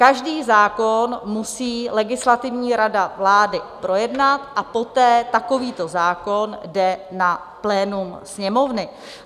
Každý zákon musí legislativní rada vlády projednat a poté takovýto zákon jde na plénum Sněmovny.